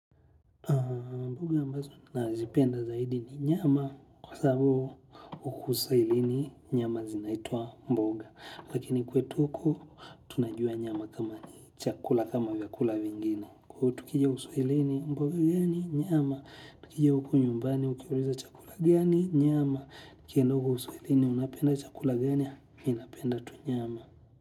Mboga ambazo nazipenda zaidi ni nyama kwa sababu huku sailini nyama zinaitwa mboga. Lakini kwetu huku tunajua nyama kama ni chakula kama vyakula vingine. Kwa hivyo tukija uswahilini mboga ehh ni nyama, tukija hupo nyumbani ukiulizwa chakula gani, nyama. Ukienda huko uswahilini, unapenda chakula gani, mi napenda tu nyama.